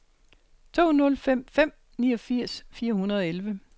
to nul fem fem niogfirs fire hundrede og elleve